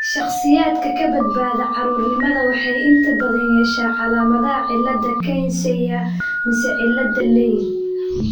Shakhsiyaadka ka badbaada caruurnimada waxay inta badan yeeshaan calaamadaha cilada Kearns Sayre mise cilada Leigh .